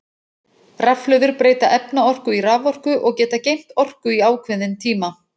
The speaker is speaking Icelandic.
Rafhlöður breyta efnaorku í raforku og geta geymt orku í ákveðin tíma.